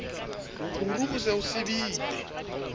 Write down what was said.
mokuru o se o sibile